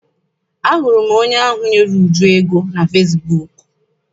Ahụrụ m onye ahụ nyere Uju ego na fesibuuku.